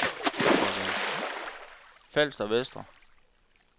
Falster Vestre